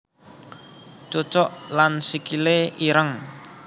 Cucuk lan Sikile ireng